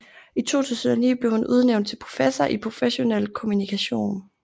I 2009 blev hun udnævnt til professor i professionel kommunikation